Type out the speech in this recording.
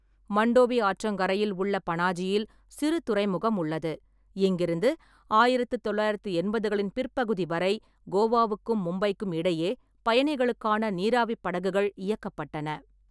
மண்டோவி ஆற்றங்கரையில் உள்ள பனாஜியில் சிறு துறைமுகம் உள்ளது, இங்கிருந்து ஆயிரத்து தொள்ளாயிரத்து எண்பதுகளின் பிற்பகுதி வரை கோவாவுக்கும் மும்பைக்கும் இடையே பயணிகளுக்கான நீராவிப் படகுகள் இயக்கப்பட்டன.